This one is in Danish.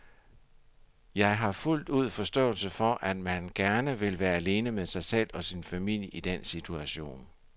Jeg har fuldt ud forståelse for, at man gerne vil være alene med sig selv og sin familie i den situation.